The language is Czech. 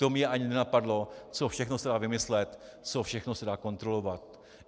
To mě ani nenapadlo, co všechno se dá vymyslet, co všechno se dá kontrolovat.